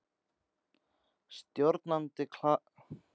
Stjórnandi Kastljóss: Voruð það þið tveir sem takið ákvörðunina?